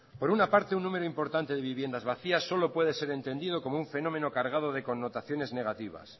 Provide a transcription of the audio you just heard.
por una parte un número importante de viviendas vacías solo puede ser entendido como un fenómeno cargado de connotaciones negativas